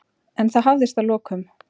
En það hafðist að lokum.